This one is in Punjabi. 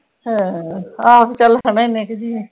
ਹੂ ਹਾਹੁ ਚਲ ਹੁਣੇ ਏਨੇ ਕੁ ਜੀ ਨੇ